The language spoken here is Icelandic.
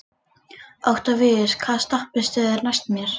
Októvíus, hvaða stoppistöð er næst mér?